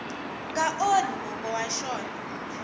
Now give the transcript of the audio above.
nga onhi mongo wa xona